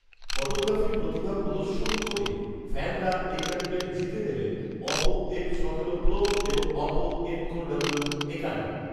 photography প্রতিভা প্রদর্শন করে ফ্যানরা এ ক্যাম্পেইন জিতে নেবেন অপো এফ সতেরো প্রো এবং অপো এনকো ডাব্লিউ একান্ন